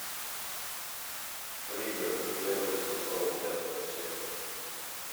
пригород первый сезон пятая серия